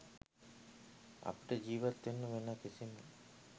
අපට ජිවත් වෙන්න වෙන කිසිම